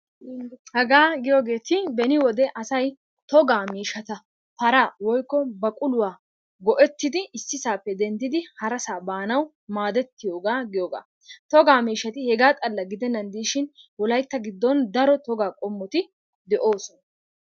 Hagaa giyoogetti beni wode asay togaa miishshata paraa woykko baquluwaa goettidi issisaappe denddidi harasaa baanawu maadettiyoogaa giyoogaa. Togaa miishshati hegaa xalla gidennan de'ishin wolaytta giddon daro togaa qommoti de'oosona.